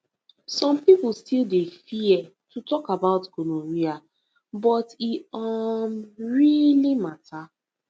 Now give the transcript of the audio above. some people still dey fear to talk about gonorrhea but e um really matter